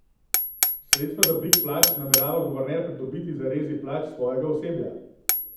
Sredstva za dvig plač namerava guverner pridobiti z rezi plač svojega osebja.